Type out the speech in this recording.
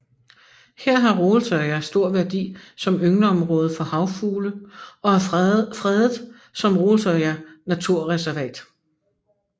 Her har Rolsøya stor værdi som yngleområde for havfugle og er fredet som Rolsøya naturreservat